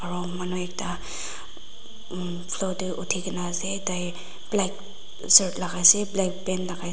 ro manu ekta umm floor tae uthikae na ase tai black shirt lakaase black long pant lakaiase--